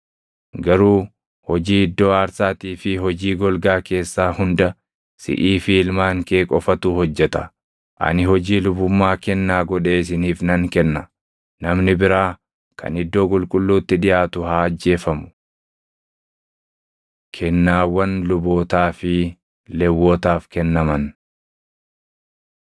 Garuu hojii iddoo aarsaatii fi hojii golgaa keessaa hunda siʼii fi ilmaan kee qofatu hojjeta. Ani hojii lubummaa kennaa godhee isiniif nan kenna. Namni biraa kan iddoo qulqulluutti dhiʼaatu haa ajjeefamu.” Kennaawwan Lubootaa fi Lewwotaaf Kennaman